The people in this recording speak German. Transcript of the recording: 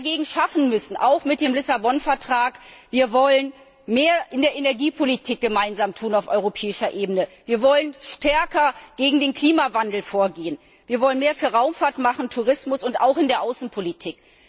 Was wir dagegen schaffen müssen, auch mit dem Lissabon Vertrag Wir wollen mehr in der Energiepolitik gemeinsam tun auf europäischer Ebene, wir wollen stärker gegen den Klimawandel vorgehen, wir wollen mehr für Raumfahrt machen, Tourismus und auch in der Außenpolitik.